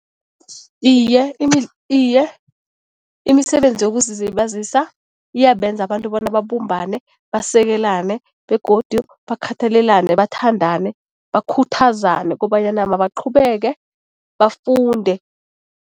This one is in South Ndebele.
Iye, iye, imisebenzi yokuzilibazisa iyabenza abantu bona babumbane basekelane begodu bakhathalelane, bathandane, bakhuthazane kobanyana mabaqhubeke bafunde.